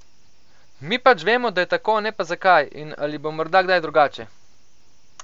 Mi pač vemo, da je tako, ne pa zakaj, in ali bo morda kdaj drugače?